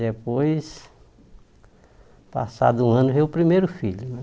Depois, passado um ano, veio o primeiro filho